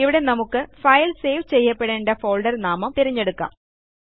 ഇവിടെ നമുക്ക് file save ചെയ്യപ്പെടേണ്ട ഫോൾഡർ നാമം തിരഞ്ഞെടുക്കാം